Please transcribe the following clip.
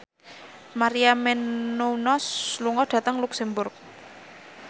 Maria Menounos lunga dhateng luxemburg